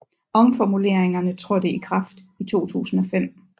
Omformuleringerne trådte i kraft i 2005